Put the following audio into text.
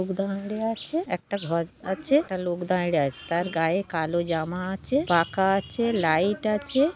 লোক দাঁড়িয়ে আছে একটা ঘর আছে একটা লোক দাঁড়িয়ে আছে তার গায়ে কালো জামা আছে পাখা আছে লাইট আছে-এ।